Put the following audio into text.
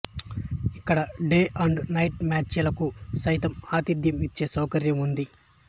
ఇక్కడ day and night match లకు సైతం ఆతిధ్యం ఇచ్చే సౌకర్యం ఉంది